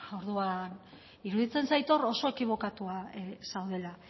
orduan iruditzen zait hor oso ekibokatua zaudela